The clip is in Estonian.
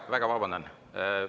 Väga vabandan!